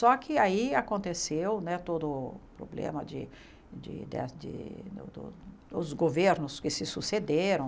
Só que aí aconteceu né todo o problema de de de dos governos que se sucederam,